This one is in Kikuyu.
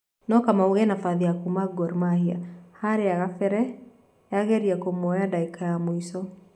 No Kamau ena bathi ya kuma Gor Mahia harĩa Kibera yageria kũmuoya ndagĩka cia mwico